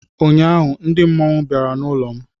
Ụnyaahụ ndị mmọnwụ bịara n'ụlọ m